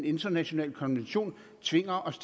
international konvention tvinger os